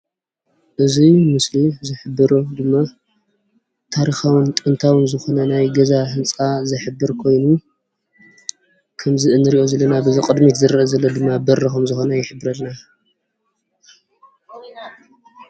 እዚ ምስሊ ዝሕብሮ ድማ ታሪካውን ጥንታውን ዝኮነ ናይ ገዛ ህንፃ ዝሕብር ኮይኑ ከምዚ እንሪኦ ዘለና በዚ ቅድሚት ዝረአ ዘሎ ድማ በሪ ከምዝኮነ ይሕበረልና፡፡